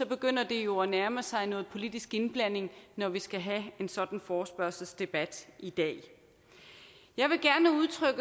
begynder det jo at nærme sig noget politisk indblanding når vi skal have en sådan forespørgselsdebat i dag jeg vil gerne udtrykke